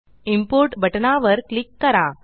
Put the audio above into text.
import बटनावर click करा